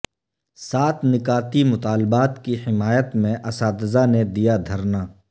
سات نکاتی مطالبات کی حمایت میں اساتذہ نے دیا دھرنا